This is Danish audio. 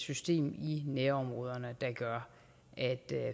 system i nærområderne der gør at